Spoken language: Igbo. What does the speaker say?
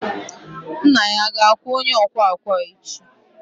nna ya ga-akwụ onye ọkwa ọkwa echi?